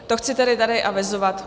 To chci tedy tady avizovat.